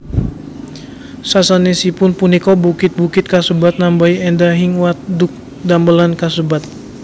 Sasanesipun punika bukit bukit kasebat nambahi endahing wadhuk damelan kasebat